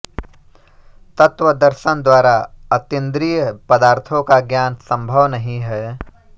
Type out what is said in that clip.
तत्व दर्शन द्वारा अतींद्रिय पदार्थों का ज्ञान संभव नहीं है